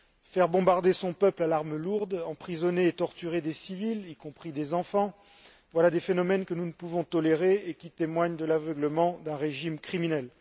Faire bombarder son peuple à l'arme lourde, emprisonner et torturer des civils, y compris des enfants, voilà des phénomènes que nous ne pouvons tolérer et qui témoignent de l'aveuglement d'un régime criminel.